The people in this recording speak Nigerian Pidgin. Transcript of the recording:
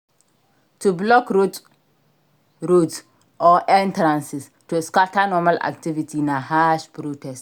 To blockroads roads or entrances to scatter normal activity na harsh protest